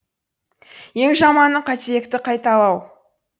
ең жаманы қателікті қайталау